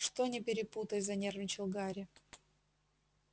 что не перепутай занервничал гарри